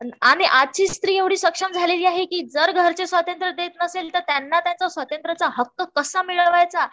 आजची स्त्री एवढी सक्षम झालेली आहे कि जर घरचे स्वातंत्र देत नसतील तर त्यांना त्यांचा स्वातंत्र्याचा हक्क कसा मिळवायचा